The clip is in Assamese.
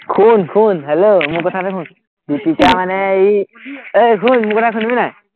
শুন শুন, hello মোৰ কথাটো শুন, দীপিকা মানে এই ঐ মোৰ শুনিবি নাই,